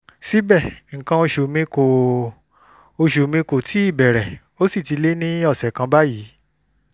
síbẹ̀ nǹkan oṣù mi kò oṣù mi kò tíì bẹ̀rẹ̀ ó sì ti lé ní ọ̀sẹ̀ kan báyìí